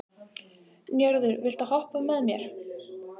Njörður, viltu hoppa með mér?